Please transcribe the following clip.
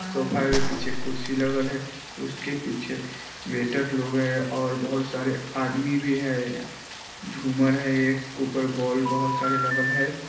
Sofa के पीछे कुर्सी लगल है उसके पीछे वेटर लोग है और बहुत सारे आदमी भी है झूमर है एक ऊपर बॉल बहुत सारे लगल है।